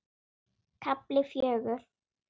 KAFLI FJÖGUR